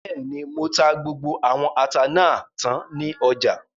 Bẹ́ẹ̀ni, mo ta gbogbo àwọn ata náà tán ní ọjà